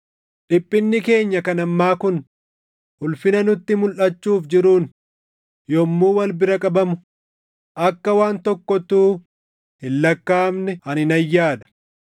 Dhiphinni keenya kan ammaa kun ulfina nutti mulʼachuuf jiruun yommuu wal bira qabamu akka waan tokkottuu hin lakkaaʼamne ani nan yaada.